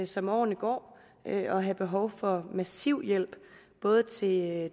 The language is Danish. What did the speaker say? som årene går at have behov for massiv hjælp både til